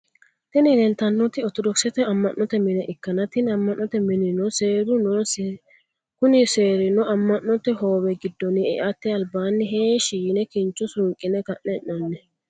Tini lelitanoti orithodokisette amanote mini ikana tini amannote minino seru nonisa kuni serrino amonote hoowe gidonni e’ate alibani heshsh yine kinicho suniqqine kane ennanni.